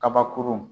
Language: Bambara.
Kabakurun